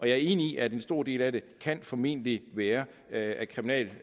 er enig i at en stor del af det formentlig være af kriminel